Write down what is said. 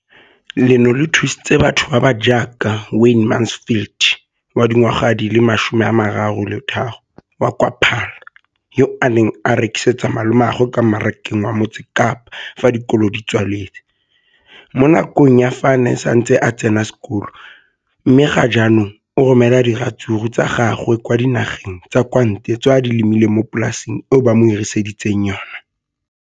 Leno le thusitse batho ba ba jaaka Wayne Mansfield, 33, wa kwa Paarl, yo a neng a rekisetsa malomagwe kwa Marakeng wa Motsekapa fa dikolo di tswaletse, mo nakong ya fa a ne a santse a tsena sekolo, mme ga jaanong o romela diratsuru tsa gagwe kwa dinageng tsa kwa ntle tseo a di lemileng mo polaseng eo ba mo hiriseditseng yona.